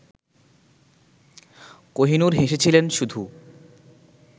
কোহিনূর হেসেছিলেন শুধু